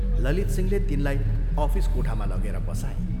ललितसिंहले तिनलाई अफिस कोठामा लगेर बसाए।